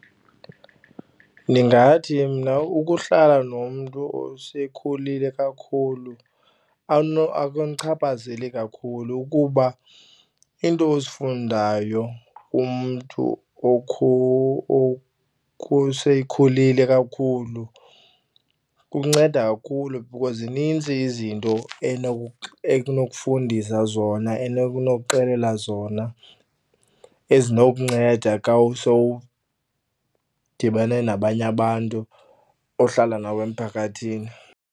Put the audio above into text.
Ndingathi mna ukuhlala nomntu osekhulile kakhulu akundichaphazeli kakhulu ukuba iinto ozifundayo kumntu oseyekhulile kakhulu kunceda kakhulu because zinintsi izinto ekunokufundisa zona enokuxelela zona ezinokunceda xa sowudibane nabanye abantu ohlala nabo emphakathini.